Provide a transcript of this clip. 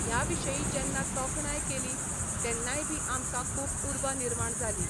ह्या विशयी जेन्ना तोखणाय केली तेन्नाय बी आमकां खूब उर्बा निर्माण जाली.